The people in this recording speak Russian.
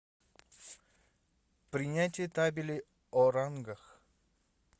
принятие табели о рангах